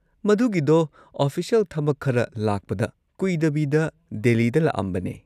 ꯃꯗꯨꯒꯤꯗꯣ official ꯊꯕꯛ ꯈꯔ ꯂꯥꯛꯄꯗ ꯀꯨꯏꯗꯕꯤꯗ ꯗꯦꯜꯂꯤꯗ ꯂꯥꯛꯑꯝꯕꯅꯦ꯫